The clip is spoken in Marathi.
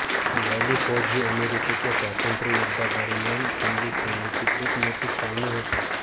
व्हॅली फोर्ज ही अमेरिकेच्या स्वातंत्र्ययुद्धादरम्यान खंडीय सेनेचे एक मोठी छावणी होती